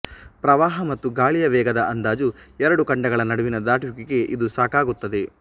ಪ್ರವಾಹ ಮತ್ತು ಗಾಳಿಯ ವೇಗದ ಅಂದಾಜು ಎರಡು ಖಂಡಗಳ ನಡುವಿನ ದಾಟುವಿಕೆಗೆ ಇದು ಸಾಕಾಗುತ್ತದೆ